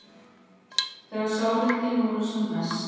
Þegar sárindin voru sem mest.